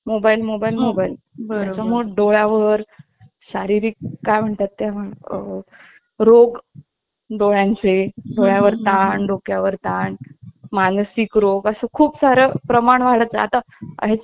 mobile mobile बर मोर डोळ्या वर शारीरिक काय म्हणतात ते आह रोग डोळ्यांचे डोळ्या वर ताण डोक्यावर ताण मानसिक रोग असं खूप सारं प्रमाण वाढत आता ह्या ची माहिती छोट्या छोट्या मुलांना चस्मा हे